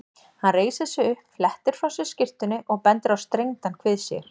Hann reisir sig upp, flettir frá sér skyrtunni og bendir á strengdan kvið sér.